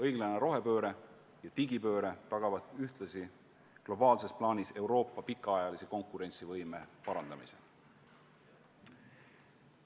Õiglane rohepööre ja digipööre tagavad ühtlasi globaalses plaanis Euroopa pikaajalise konkurentsivõime parandamise.